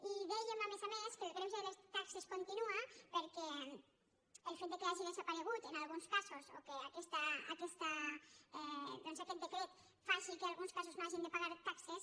i dèiem a més a més que el greuge de les taxes continua perquè el fet que hagi desaparegut en alguns casos o que aquest decret faci que en alguns casos no hagin de pagar taxes